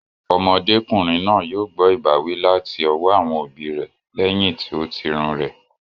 Ọmọdé kùnrin náà yóò gbọ́ ìbáwí láti ọwọ́ àwọn òbí rẹ lẹyìn tí o tirun rẹ̀